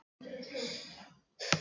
Vébjörn, hvernig er veðrið á morgun?